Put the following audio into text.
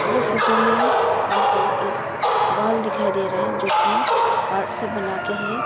ये फोटो में हमको एक वॉल दिखाई दे रहा है जो कि कार्ड से बना के है।